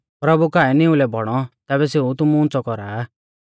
प्रभु काऐ निउलै बौणौ तैबै सेऊ तुमु उंच़ौ कौरा आ